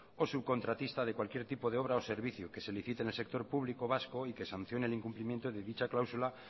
o subcontratista de cualquier tipo de obra o servicio que se licite en el sector público vasco y que sancionen el incumplimiento de dicha cláusula